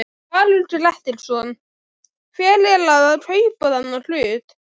Valur Grettisson: Hver er að kaupa þennan hlut?